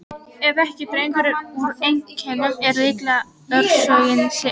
Ef ekki dregur úr einkennum er líklegt að orsökin sé önnur.